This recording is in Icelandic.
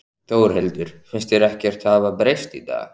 Þórhildur: Finnst þér ekkert hafa breyst í dag?